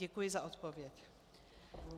Děkuji za odpověď.